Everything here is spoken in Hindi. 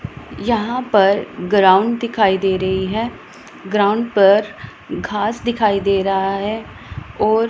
यहां पर ग्राउंड दिखाई दे रही है ग्राउंड पर घास दिखाई दे रहा है और--